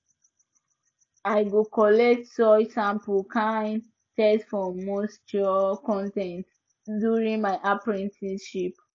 i go collect soil samples kan test for moisture con ten t during my apprenticeship